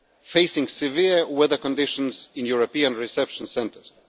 facing severe weather conditions in European reception centres.